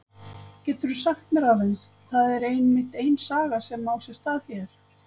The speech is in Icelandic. Getur þú sagt mér aðeins, það er einmitt ein saga sem á sér stað hér?